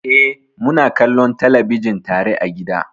Eh, muna kallon talabijin tare a gida.